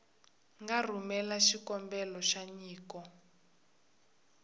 nga rhumela xikombelo xa nyiko